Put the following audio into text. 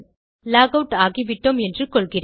lock out ஆகிவிட்டோம் என்று கொள்கிறேன்